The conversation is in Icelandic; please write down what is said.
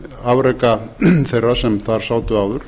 afreka þeirra sem þar sátu áður